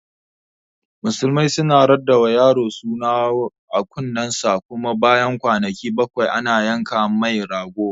Musulmai suna raɗawa yaro suna a kunnen sa, kuma bayan kwanaki bakwai ana yanka mai rago